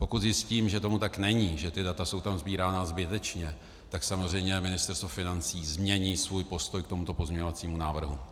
Pokud zjistím, že tomu tak není, že ta data jsou tam sbírána zbytečně, tak samozřejmě Ministerstvo financí změní svůj postoj k tomuto pozměňovacímu návrhu.